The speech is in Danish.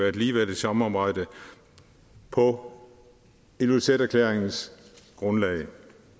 et ligeværdigt samarbejde på ilulissaterklæringens grundlag